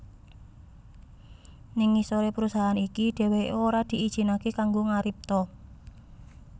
Ning ngisoré perusahaan iki dheweké ora diijinaké kanggo ngaripta